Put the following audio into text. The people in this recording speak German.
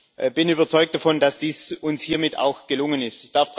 Ich bin überzeugt davon, dass dies uns hiermit auch gelungen ist.